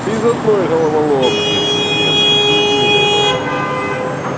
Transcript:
без одной головоломки резидент без единой нахуй